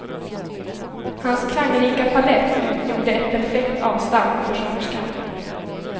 Hans klangrika palett utgjorde ett perfekt avstamp för sångerskan.